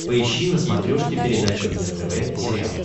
поищи на смотрешке передачу нтв сериал